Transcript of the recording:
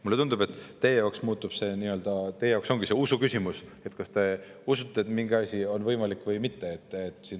Mulle tundub, et jaoks ongi see usuküsimus – te kas usute, et mingi asi on võimalik, või mitte.